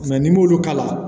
n'i m'olu k'a la